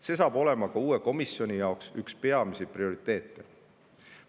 See saab olema ka uue komisjoni jaoks üks prioriteete.